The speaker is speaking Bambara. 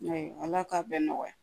Ayiwa ala k'a bɛɛ nɔgɔya